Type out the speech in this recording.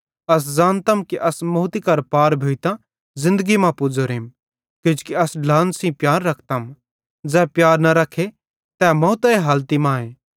अस ज़ानतम कि अस मौती करां पार भोइतां ज़िन्दगी मां पुज़ोरेम किजोकि अस ढ्लान सेइं प्यार रखतम ज़ै प्यार न रखे तै मौतरे हालती मांए